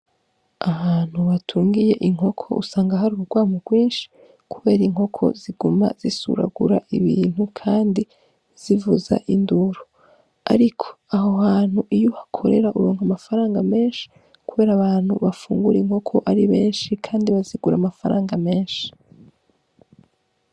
Ahantu batungiye inkoko usanga hari urwamo rwinshi kubera inkoko ziguma zisuragura ibintu, kandi zivuza induru, ariko aho hantu iyo uhakorera uronka amafaranga menshi, kubera abantu bafungura inkoko ari benshi Kandi bazigura amafaranga menshi.